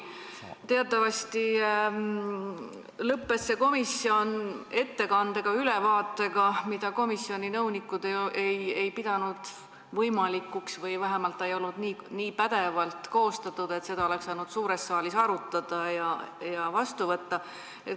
Teatavasti lõppes selle komisjoni töö ülevaatega, mida komisjoni nõunikud ei pidanud võimalikuks või vähemalt see ei olnud nii pädevalt koostatud, et seda oleks saanud suures saalis arutada ja mingi otsuse vastu võtta.